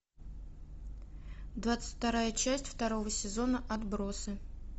двадцать вторая часть второго сезона отбросы